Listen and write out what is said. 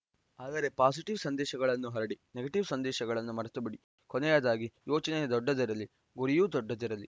ಆದರೆ ಪಾಸಿಟಿವ್‌ ಸಂದೇಶಗಳನ್ನು ಹರಡಿ ನೆಗೆಟಿವ್‌ ಸಂದೇಶಗಳನ್ನು ಮರೆತುಬಿಡಿ ಕೊನೆಯದಾಗಿ ಯೋಚನೆ ದೊಡ್ಡದಿರಲಿ ಗುರಿಯೂ ದೊಡ್ಡದಿರಲಿ